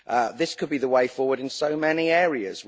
This could be the way forward in so many areas.